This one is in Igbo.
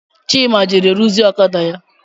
Chima jere ruzie ọkada ya